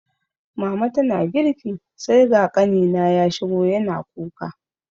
Mama tana girki sai ga ƙanina ya shigo yana kuka